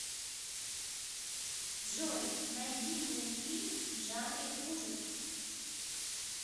джой найди мне фильм в жанре ужасов